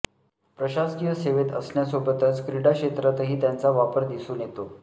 प्रशासकीय सेवेत असण्यासोबच क्रीडा क्षेत्रातही त्यांचा वावर दिसून येतो